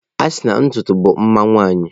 A sina na ntutu bụ mma nwanyị.